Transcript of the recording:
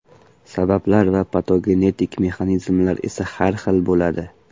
Sabablar va patogenetik mexanizmlar esa har xil bo‘ladi.